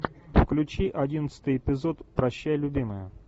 включи одиннадцатый эпизод прощай любимая